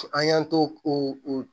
An y'an t'o o